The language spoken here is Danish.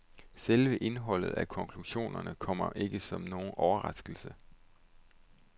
Selve indholdet af konklusionerne kommer ikke som nogen overraskelse.